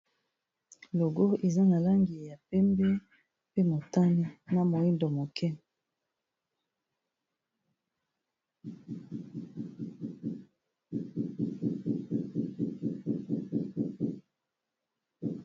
Logo eza na langi ya pembe pe motane na moyindo moke.